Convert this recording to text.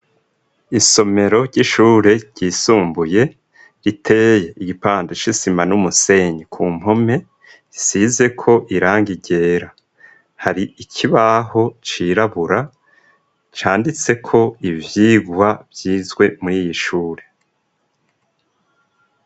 Isomero ry'ishure ryisumbuye riteye igipande c'isima n'umusenyi ku mpome isizeko irangi ryera hari ikibaho cirabura canditseko ivyirwa vyizwe muriy'ishure.